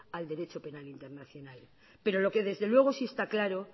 al derecho penal internacional pero lo que desde luego sí está claro